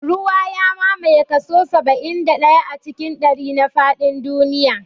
Ruwa ya mamaye kaso saba'in da ɗaya cikin ɗari na faɗin duniya